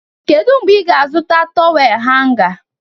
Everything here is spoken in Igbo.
Kedu mgbe ị ga-azụta tọwel hanga?